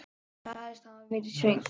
Sagðist hafa verið svöng.